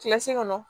Kilasi kɔnɔ